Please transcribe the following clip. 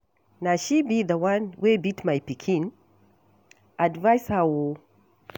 Na she be the one wey beat my pikin? Advice her oo